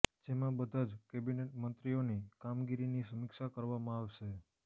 જેમાં બધા જ કેબીનેટ મંત્રીઓની કામગીરીની સમીક્ષા કરવામાં આવશે